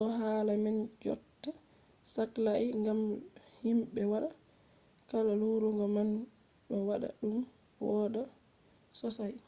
ɗo hala man jotta saklai ngam himɓe waɗata kuje larugo man ɗo waɗa ɗum wooɗa sosai